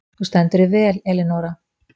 Þú stendur þig vel, Elínora!